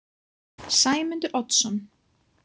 Sæmundur Oddsson